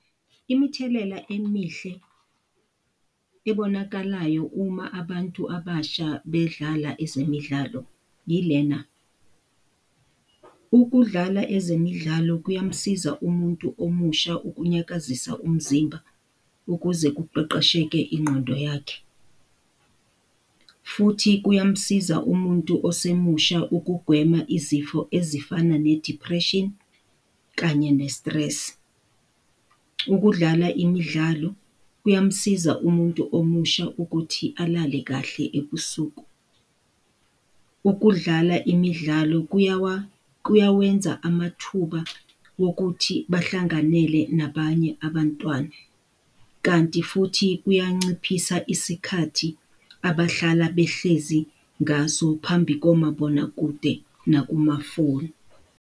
Imithelela emihle ebonakalayo uma abantu abasha bedlala ezemidlalo yilena. Ukudlala ezemidlalo kuyamsiza umuntu omusha ukunyakazisa umzimba ukuze kuqeqesheke ingqondo yakhe, futhi kuyamsiza umuntu osemusha ukugwema izifo ezifana ne-depression kanye ne-stress. Ukudlala imidlalo kuyamsiza umuntu omusha ukuthi alale kahle ebusuku. Ukudlala imidlalo kuyawenza amathuba wokuthi bahlanganele nabanye abantwana, kanti futhi kuyanciphisa isikhathi abahlala behlezi ngaso phambi komabonakude, nakumafoni.